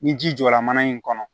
Ni ji jɔra mana in kɔnɔ